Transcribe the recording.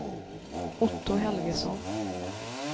Otto Helgesson